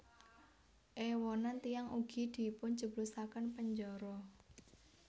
Èwonan tiyang ugi dipunjeblosaken penjara